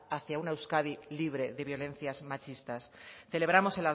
hace hacia una euskadi libre de violencias machistas celebramos